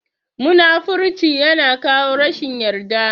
Munafurci ya na kawo rashin yarda